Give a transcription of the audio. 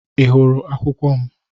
Ị hụrụ akwụkwo m?